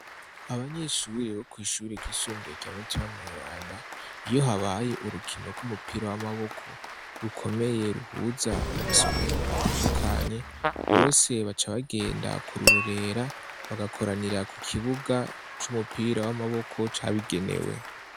Abanyeshuri bo kw'ishure ryisumbuye rya mutima mweranda iyo habaye urukino rw'umupira w'amaboko rukomeye ruhuza amasomero atandukanye bose baca bagenda kurorera bagakoranira ku kibuga c'umupira w'amaboko cabigenewe.